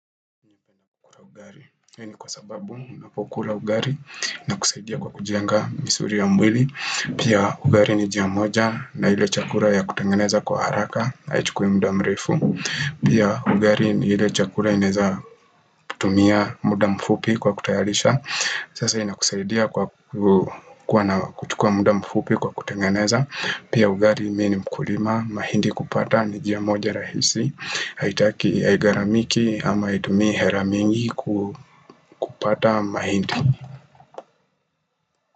Hii ni kwa sababu unapokula ugali inakusaidia kukujenga misuli ya mwili Pia ugali ni njia moja na ile chakula ya kutengeneza kwa haraka haichukui muda mrefu Pia ugali ni ile chakula inaeza kutumia muda mfupi kwa kutayarisha Sasa inakusaidia kwa kuwa na kuchukua muda mfupi kwa kutengeneza Pia ugali mimi ni mkulima mahindi kupata ni njia moja rahisi haitaki haigaramiki ama haitumi hela mingi kupata mahindi.